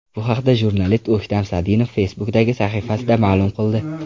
Bu haqda jurnalist O‘ktam Sadinov Facebook’dagi sahifasida ma’lum qildi .